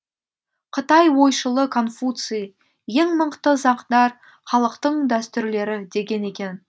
қытай ойшылы конфуций ең мықты сақдар халықтың дәстүрлері деген екен